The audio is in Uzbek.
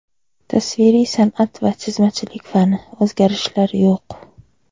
Tasviriy sanʼat va chizmachilik fani: o‘zgarishlar yo‘q.